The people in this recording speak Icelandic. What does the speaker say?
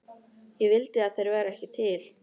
Ég vildi að þeir væru ekki til.